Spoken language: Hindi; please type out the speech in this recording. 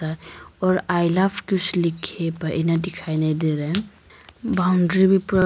और आई लव कुछ लिखे पर यहां दिखाई नहीं दे रहे हैं बाउंड्री भी पूरा--